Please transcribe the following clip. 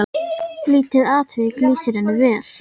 Lítið atvik lýsir henni vel.